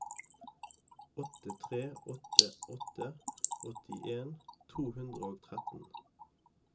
åtte tre åtte åtte åttien to hundre og tretten